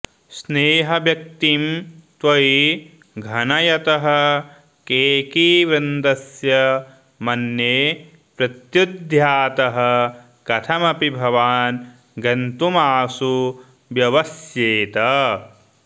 स्नेहव्यक्तिं त्वयि घनयतः केकिवृन्दस्य मन्ये प्रत्युद्यातः कथमपि भवान् गन्तुमाशु व्यवस्येत्